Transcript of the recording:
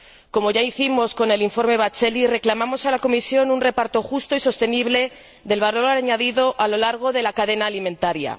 Como ya hicimos con el informe Batzeli, reclamamos a la Comisión un reparto justo y sostenible del valor añadido a lo largo de la cadena alimentaria.